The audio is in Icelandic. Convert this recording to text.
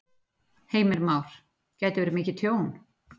Heimir Már: Gæti verið mikið tjón?